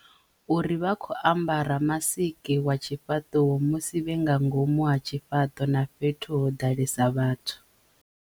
Uri vha khou ambara masiki wa tshifhaṱuwo musi vhe nga ngomu ha tshifhaṱo na fhethu ho ḓalesa vhathu.